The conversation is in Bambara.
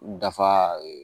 Dafa